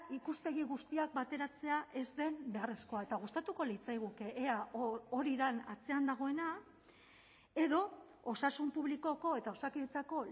ikuspegi guztiak bateratzea ez den beharrezkoa eta gustatuko litzaiguke ea hori den atzean dagoena edo osasun publikoko eta osakidetzako